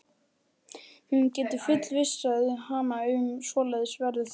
Hún getur fullvissað hana um að svoleiðis verður það.